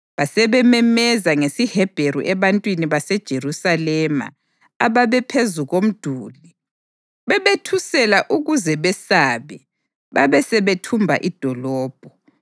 Basebememeza ngesiHebheru ebantwini baseJerusalema ababephezu komduli, bebethusela ukuze besabe babesebethumba idolobho.